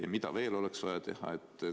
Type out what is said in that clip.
Ja mida veel oleks vaja teha?